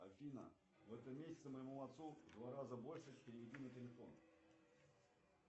афина в этом месяце моему отцу в два раза больше переведи на телефон